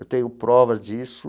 Eu tenho provas disso.